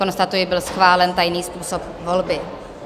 Konstatuji, byl schválen tajný způsob volby.